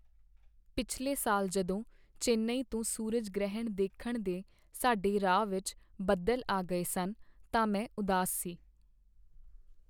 ਪਿਛਲੇ ਸਾਲ ਜਦੋਂ ਚੇਨਈ ਤੋਂ ਸੂਰਜ ਗ੍ਰਹਿਣ ਦੇਖਣ ਦੇ ਸਾਡੇ ਰਾਹ ਵਿੱਚ ਬੱਦਲ ਆ ਗਏ ਸਨ, ਤਾਂ ਮੈਂ ਉਦਾਸ ਸੀ।